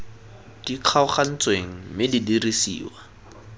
di kgaogantsweng mme di dirisiwa